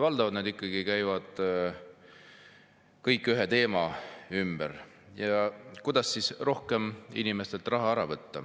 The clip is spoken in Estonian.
Valdavalt käivad need ühe teema ümber: kuidas inimestelt rohkem raha ära võtta